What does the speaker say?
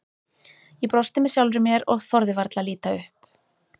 Ég brosti með sjálfri mér og þorði varla að líta upp.